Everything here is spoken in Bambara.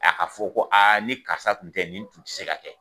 A ka fɔ ko aa ni karisa tun tɛ nin tun tɛ se ka kɛ